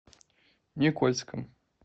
никольском